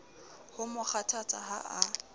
ho mo kgothatsa ha a